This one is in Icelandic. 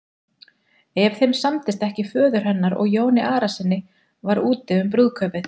Ef þeim samdist ekki föður hennar og Jóni Arasyni var úti um brúðkaupið.